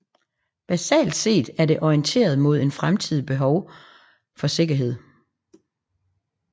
Basalt set er det orienteret mod en fremtidigt behov for sikkerhed